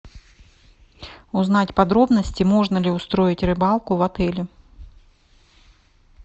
узнать подробности можно ли устроить рыбалку в отеле